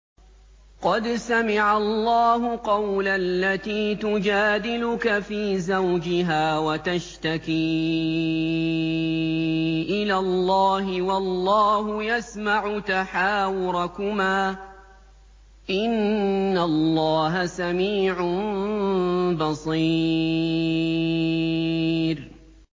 قَدْ سَمِعَ اللَّهُ قَوْلَ الَّتِي تُجَادِلُكَ فِي زَوْجِهَا وَتَشْتَكِي إِلَى اللَّهِ وَاللَّهُ يَسْمَعُ تَحَاوُرَكُمَا ۚ إِنَّ اللَّهَ سَمِيعٌ بَصِيرٌ